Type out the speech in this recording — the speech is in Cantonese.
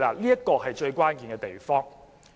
這是最關鍵的地方。